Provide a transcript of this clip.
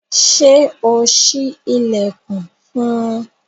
Ṣe o ṣi ilẹkun fún un?